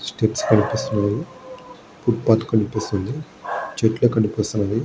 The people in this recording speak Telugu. స్టిక్స్ కనిపిస్తున్నాయి. ఫుట్పాత్ కనిపిస్తుంది. చెట్లు కనిపిస్తున్నాయి.